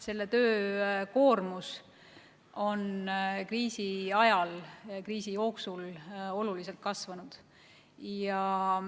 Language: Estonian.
Selle töö koormus on kriisi ajal oluliselt kasvanud.